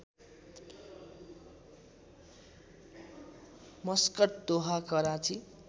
Muscat Doha Karachi